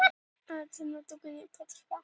Það gæti verið möguleiki.